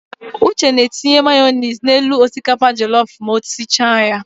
Uche na-etinye mayonis n'elu osikapa jọlọf ma o sicha ya.